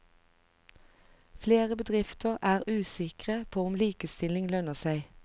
Flere bedrifter er usikre på om likestilling lønner seg.